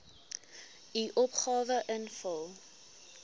u opgawe invul